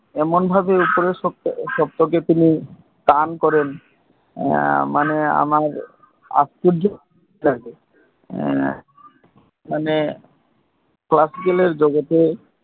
এমন ভাবে উপরের সত্ব কে টান করেন আমার আশ্চর্য লাগে মানে Classical জগতে